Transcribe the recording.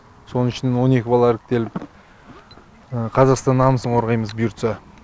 соның ішінен он екі бала іріктеліп қазақстанның намысын қорғаймыз бұйыртса